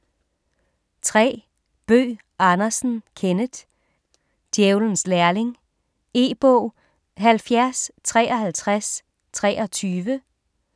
3. Bøgh Andersen, Kenneth: Djævelens lærling E-bog 705323